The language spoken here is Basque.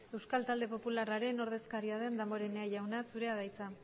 euskal talde popularraren ordezkaria den damborenea jauna zurea da hitza